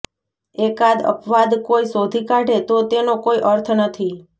એકાદ અપવાદ કોઈ શોધી કાઢે તો તેનો કોઈ અર્થ નથી